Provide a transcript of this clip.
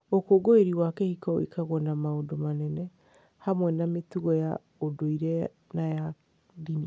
Ũkũngũĩri wa kĩhiko wĩkagwo na maũndũ manene, hamwe na mĩtugo ya ũndũire na ya ndini.